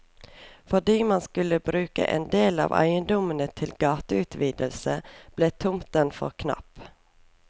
Fordi man skulle bruke endel av eiendommene til gateutvidelse, ble tomten for knapp.